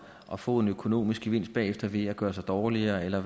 at få en økonomisk gevinst bagefter ved at gøre sig dårligere eller